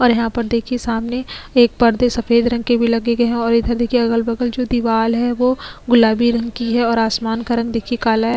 और यहां पर देखिए सामने एक पर्दे सफेद रंग के भी लगे गए हैं और इधर देखिए अगल जो दीवाल है वो गुलाबी रंग की है और आसमान का रंग देखिए काला हैं।